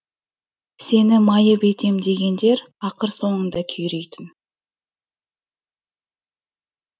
сені майып етем дегендер ақыр соңында күйрейтін